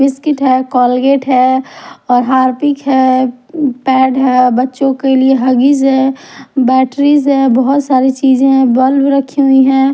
Biscuit है Colgate है और हारपीक है पैड है बच्चों के लिए हगीज है बैटरीज है बहुत सारी चीजें बल्ब रखी हुई है।